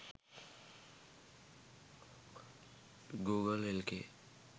google lk